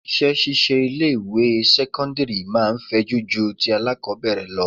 Iṣẹ́ ṣíṣe ilé ìwé sẹ́cọ́ndírì máa fẹjú ju ti alákọbẹ̀rẹ̀ lọ.